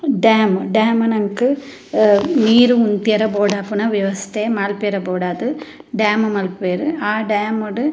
Dam dam ನಂಕ್ ಅಹ್ ನೀರ್ ಉಂತ್ಯರೆ ಬೋಡಾಪುನ ವ್ಯವಸ್ಥೆ ಮನ್ಪರೆ ಬೋಡಾದ್ ಡ್ಯಾಮ್ ಮನ್ಪುವೆರ್ ಆ ಡ್ಯಾಮ್ ಡು.